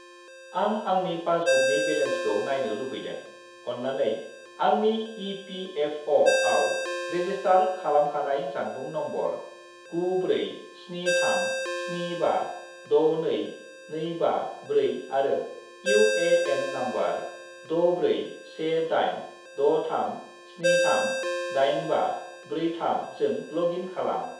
आं आंनि पासबुकनि बेलेन्सखौ नायनो लुबैदों, अन्नानै आंनि इ.पि.एफ.अ'.आव रेजिस्टार खालामखानाय जानबुं नम्बर 94737562254 आरो इउ.ए.एन. नम्बर 641863738543 जों लग इन खालाम।